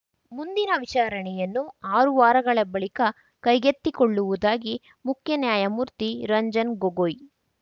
ಮುಂದಿನ ವಿಚಾರಣೆಯನ್ನು ಆರು ವಾರಗಳ ಬಳಿಕ ಕೈಗೆತ್ತಿಕೊಳ್ಳುವುದಾಗಿ ಮುಖ್ಯ ನ್ಯಾಯಮೂರ್ತಿ ರಂಜನ್ ಗೊಗೊಯ್